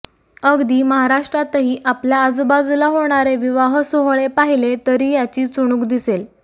अगदी महाराष्ट्रातही आपल्या आजूबाजूला होणारे विवाहसोहळे पाहिले तरी याची चुणूक दिसेल